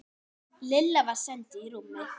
Lilla var send í rúmið.